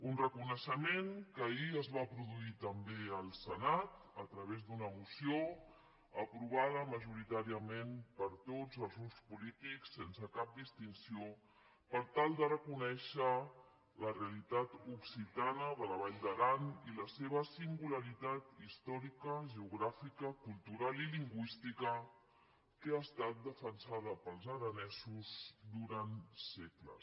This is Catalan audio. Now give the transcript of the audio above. un reconeixement que ahir es va produir també al senat a través d’una moció aprovada majoritàriament per tots els grups polítics sense cap distinció per tal de reconèixer la realitat occitana de la vall d’aran i la seva singularitat històrica geogràfica cultural i lingüística que ha estat defensada pels aranesos durant segles